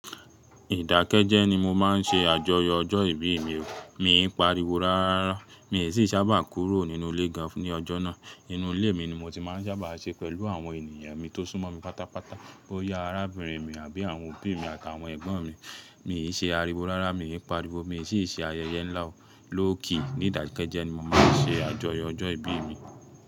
Ìdákẹ́jẹ́ ni mo máa ń ṣe àjọyọ̀ ọjọ́ ìbí mi. Mi pariwo rárá, mi sì sábà kúrò nínú ilé gan ní ọjọ́ náà. Inú ilé mi ni mo ti máa ń sábà ṣe pẹ̀lú àwọn ènìyàn mi tó sún mọ́ mi pátápátá. Ó yá arábìnrin mi àbí àwọn òbí mi àtàwọn ẹ̀gbọ́n mi. Mi ṣe àríwo rárá, mi pariwo, mi sì ṣe ayẹyẹ ńlá. Lowkey ní ìdákẹ́jẹ́ ni mo máa ń ṣe àjọyọ̀ ọjọ́ ìbí mi.